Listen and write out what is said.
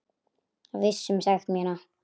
Viss um sekt mína.